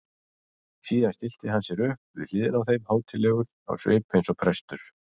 Síðan stillti hann sér upp við hliðina á þeim hátíðlegur á svip eins og prestur.